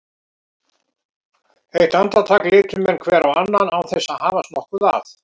Eitt andartak litu menn hver á annan án þess að hafast nokkuð að.